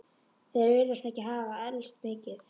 Þeir virðast ekki hafa elst mikið.